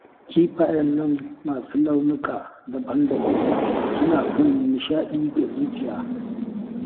Kifayen nan masu launuka daban-daban suna sanya nishaɗi ga zuciya